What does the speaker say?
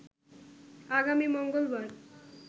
আগামী মঙ্গলবার